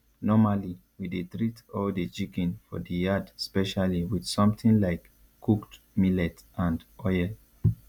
normally we dey treat all the chicken for the yard specially with something like cooked millet and oil